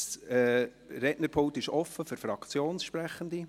Das Rednerpult ist frei für Fraktionssprechende;